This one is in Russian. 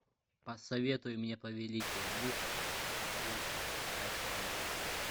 посоветуй мне повелитель мух фулл айч ди